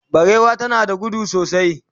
barewa tana gudu sosai